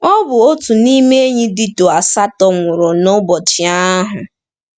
Ọ bụ otu n’ime ndị enyi Dito asatọ nwụrụ n’ụbọchị ahụ.